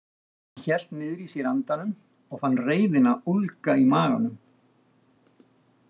Hún hélt niðri í sér andanum og fann reiðina ólga í maganum.